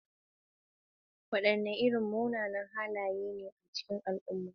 Wadanne irin munanan halaye ne a cikin al'umma?